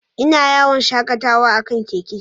Ina yawon shakatawa a kan keke.